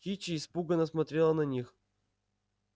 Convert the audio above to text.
кичи испуганно смотрела на них